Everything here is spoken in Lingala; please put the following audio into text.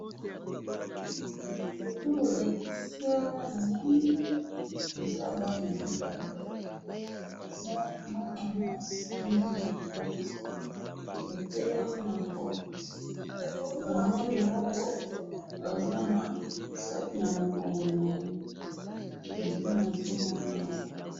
Photo balakisi awa namoni, eza bana mibale, mwana mwasi na mwana mobali, batelemi na porte, mwana ya mwasi aza na sac namukongo naye.